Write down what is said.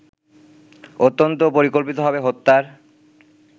অত্যন্ত পরিকল্পিতভাবে হত্যার